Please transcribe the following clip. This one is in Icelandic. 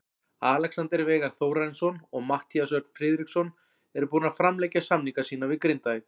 Alexander Veigar Þórarinsson og Matthías Örn Friðriksson eru búnir að framlengja samninga sína við Grindavík.